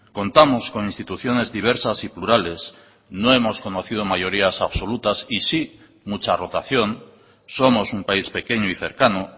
contamos con instituciones diversas y plurales no hemos conocido mayorías absolutas y sí mucha rotación somos un país pequeño y cercano